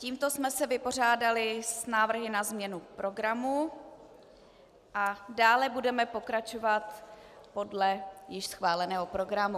Tímto jsme se vypořádali s návrhy na změnu programu a dále budeme pokračovat podle již schváleného programu.